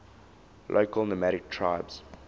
local nomadic tribes